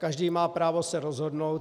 Každý má právo se rozhodnout.